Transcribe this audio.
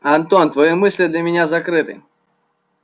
антон твои мысли для меня закрыты